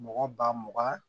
Mɔgɔ ba mugan